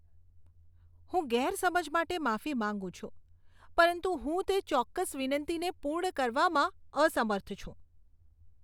હું ગેરસમજ માટે માફી માંગું છું, પરંતુ હું તે ચોક્કસ વિનંતીને પૂર્ણ કરવામાં અસમર્થ છું.